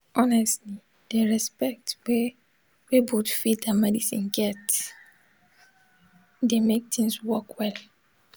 honestly di respect wey wey both faith and medicine get dey mek things work well